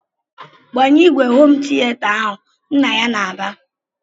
"Gbanye ìgwè homu tiata ahụ!" Nna ya na-aba.